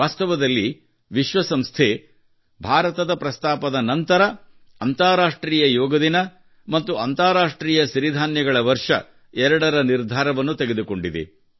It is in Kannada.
ವಾಸ್ತವದಲ್ಲಿ ವಿಶ್ವಸಂಸ್ಥೆಯು ಭಾರತದ ಪ್ರಸ್ತಾಪದ ನಂತರ ಅಂತರರಾಷ್ಟ್ರೀಯ ಯೋಗ ದಿನ ಮತ್ತು ಅಂತರರಾಷ್ಟ್ರೀಯ ಸಿರಿಧಾನ್ಯಗಳ ವರ್ಷ ಎರಡರ ನಿರ್ಧಾರವನ್ನು ತೆಗೆದುಕೊಂಡಿದೆ